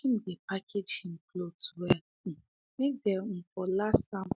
him dey package him cloths well um make them um for last am